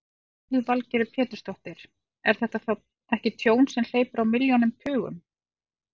Lillý Valgerður Pétursdóttir: Er þetta þá ekki tjón sem hleypur á milljónum, tugum?